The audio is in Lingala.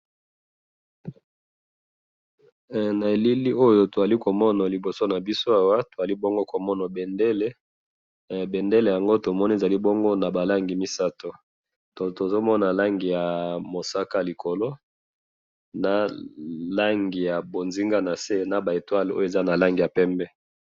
Tozali komona awa bendele ezali na ba langi misatu, ya bozinga ,mosaka na ba etoiles ya pembe.